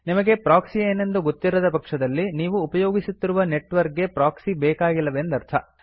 ನಿಮಗೆ ಪ್ರೊಕ್ಸಿ ಏನೆಂದು ಗೊತ್ತಿರದಪಕ್ಷದಲ್ಲಿ ನೀವು ಉಪಯೋಗಿಸುತ್ತಿರುವ ನೆಟ್ವರ್ಕ್ ಗೆ ಪ್ರೊಕ್ಸಿ ಬೇಕಾಗಿಲ್ಲವೆಂದರ್ಥ